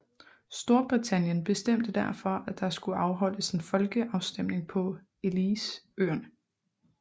Storbritannien bestemte derfor at der skulle afholdes en folkeafstemning på Elliceøerne